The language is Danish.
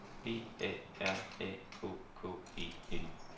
B A R A K K E N